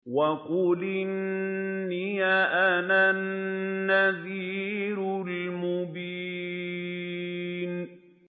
وَقُلْ إِنِّي أَنَا النَّذِيرُ الْمُبِينُ